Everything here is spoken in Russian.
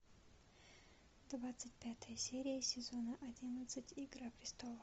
двадцать пятая серия сезона одиннадцать игра престолов